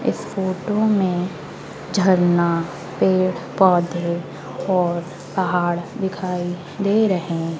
इस फोटो में झरना पेड़ पौधे और पहाड़ दिखाई दे रहे हैं।